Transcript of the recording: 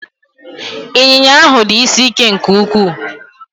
Ịnyịnya ahụ dị isi ike nke ukwuu